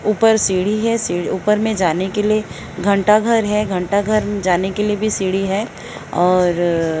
ऊपर सीढी है ऊपर में जाने के लिए घंटाघर है घंटाघर में जाने के लिए भी सीढ़ी है और--